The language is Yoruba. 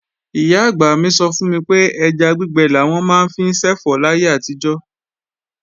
Ìyá-àgbà mi sọ fún mi pé ẹja gbígbẹ làwọn máa ń fi ṣẹ̀fọ́ láyé àtijọ́